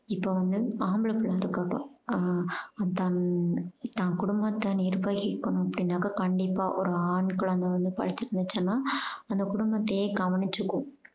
இப்போ வந்து ஆம்புள பிள்ளை இருக்கட்டும் தன் தான் கொடும்பத்த நிர்வகிக்கணும் அப்படீனாக்கா கண்டிப்பா ஒரு ஆண் குழந்தை வந்து படிச்சிந்திருச்சுனா அந்த கொடும்பத்தையே கவனிச்சுக்கும்